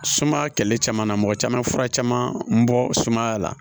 Sumaya kɛlɛli caman na mɔgɔ caman bɛ fura caman bɔ sumaya la